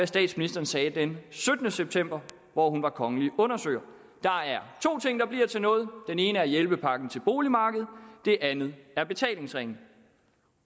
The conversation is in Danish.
statsministeren sagde den syttende september hvor hun var kongelige undersøger der er to ting der bliver til noget den ene er hjælpepakken til boligmarkedet den anden er betalingsringen